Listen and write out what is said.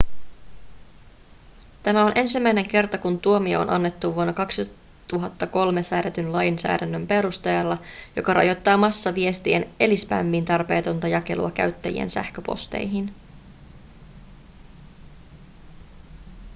tämä on ensimmäinen kerta kun tuomio on annettu vuonna 2003 säädetyn lainsäädännön perusteella joka rajoittaa massaviestien eli spämmin tarpeetonta jakelua käyttäjien sähköposteihin